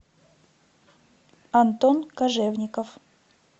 антон кожевников